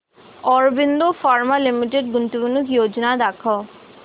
Aurobindo pharma limited गुंतवणूक योजना दाखव